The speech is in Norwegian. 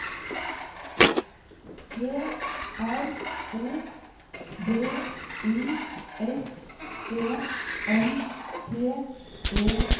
P R O D U S E N T E R